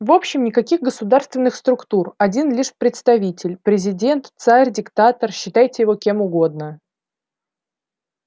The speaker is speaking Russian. в общем никаких государственных структур один лишь представитель президент царь диктатор считайте его кем угодно